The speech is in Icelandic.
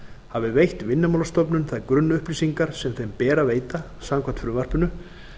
hafi veitt vinnumálastofnun þær grunnupplýsingar sem þeim ber að veita samkvæmt frumvarpinu